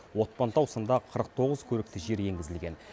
отпантау сынды қырық тоғыз көрікті жер енгізілген